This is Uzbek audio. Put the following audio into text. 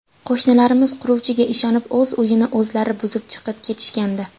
Qo‘shnilarimiz quruvchiga ishonib o‘z uyini o‘zlari buzib chiqib ketishgandi.